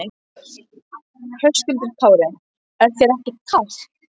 Höskuldur Kári: Er þér ekkert kalt?